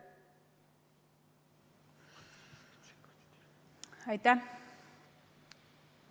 Aitäh!